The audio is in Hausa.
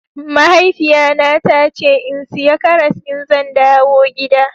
Mahaifiya na ta ce in siya karas in zan dawo gida.